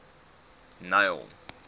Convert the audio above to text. neil